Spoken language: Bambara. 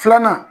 Filanan